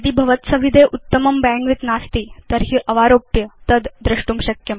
यदि भवत्सविधे उत्तमं बैण्डविड्थ नास्ति तर्हि अवारोप्य तद् द्रष्टुं शक्यम्